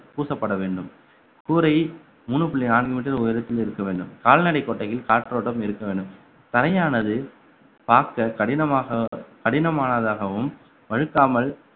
பூசப்பட வேண்டும் கூரையை மூணு புள்ளி நான்கு meter உயரத்தில் இருக்க வேண்டும் கால்நடை கொட்டையில் காற்றோட்டம் இருக்க வேண்டும் தரையானது பார்க்க கடினமாக~ கடினமானதாகவும் வழுக்காமல்